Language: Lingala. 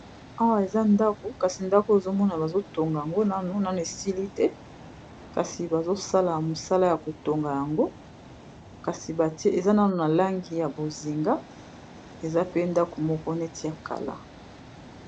Awa eza ndako kasi ndako ezomona bazotonga yango nanu, nanu esili te kasi bazosala mosala ya kotonga yango kasi batie eza nanu na langi ya bozenga eza pe ndako moko neti ya kala.